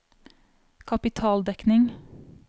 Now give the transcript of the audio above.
kapitaldekning